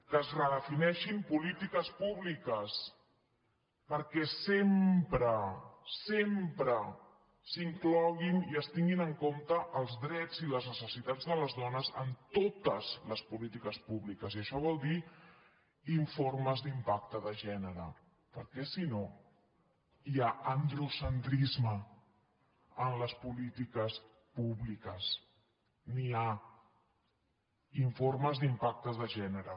que es redefinei·xin polítiques públiques perquè sempre sempre s’in·cloguin i es tinguin en compte els drets i les necessitats de les dones en totes les polítiques públiques i això vol dir informes d’impacte de gènere perquè si no hi ha androcentrisme en les polítiques públiques n’hi ha in·formes d’impacte de gènere